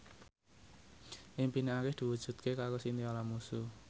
impine Arif diwujudke karo Chintya Lamusu